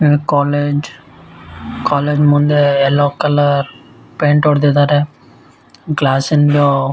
college college ಮುಂದೆ yellow colour paint ಹೊಡಿದಿದ್ದಾರೆ class ಇಂದು --